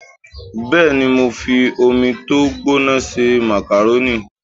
Bẹ́ẹ̀ni, mo fi omi tó gbóná se màkàrónì